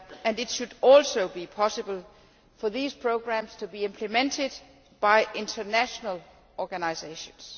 It should also be possible for those programmes to be implemented by international organisations.